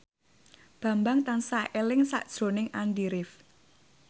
Bambang tansah eling sakjroning Andy rif